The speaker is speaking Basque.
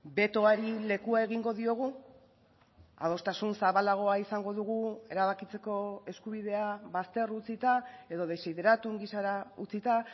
betoari lekua egingo diogu adostasun zabalagoa izango dugu erabakitzeko eskubidea bazter utzita edo desideratum gisara utzita